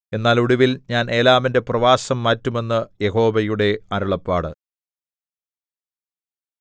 എന്നാൽ ഒടുവിൽ ഞാൻ ഏലാമിന്റെ പ്രവാസം മാറ്റും എന്ന് യഹോവയുടെ അരുളപ്പാട്